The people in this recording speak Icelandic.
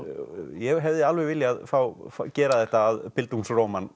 ég hefði alveg viljað gera þetta að